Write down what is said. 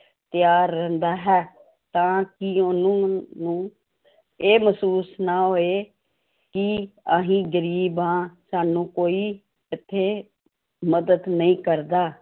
ਤਿਆਰ ਰਹਿੰਦਾ ਹੈ ਤਾਂ ਕਿ ਉਹਨਾਂ ਨੂੰ ਇਹ ਮਹਿਸੂਸ ਨਾ ਹੋਏ ਕਿ ਅਸੀਂ ਗ਼ਰੀਬ ਹਾਂ ਸਾਨੂੰ ਕੋਈ ਇੱਥੇ ਮਦਦ ਨਹੀਂ ਕਰਦਾ।